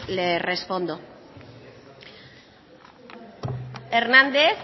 le respondo hernández